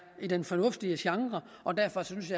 i den fornuftige genre og derfor synes